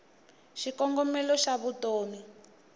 xikongomelo xavutomi